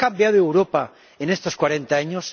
¿Ha cambiado Europa en estos cuarenta años?